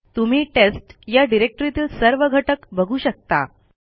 तुम्ही टेस्ट या डिरेक्टरीतील सर्व घटक बघू शकता